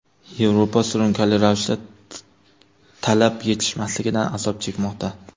Yevropa surunkali ravishda talab yetishmasligidan azob chekmoqda.